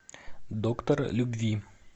доктор любви